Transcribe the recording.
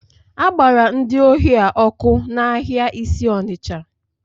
A gbara ndị ohi a ọkụ n'ahịa isi Onitsha